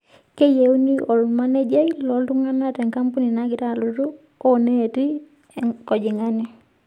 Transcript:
Keyienu olmanejia looltung'ana te kampeni nagira alotu ooneeti enkojong'ani.